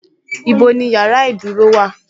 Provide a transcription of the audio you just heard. Ibo ni yàrá ìdúró wà:?